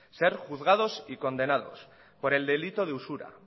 ser juzgados y condenador por el delito de usura